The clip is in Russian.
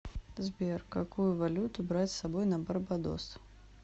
сбер какую валюту брать с собой на барбадос